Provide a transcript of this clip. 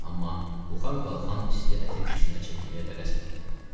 Amma buxar qalxan isti əti dişinə çəkməyə tələsmədi.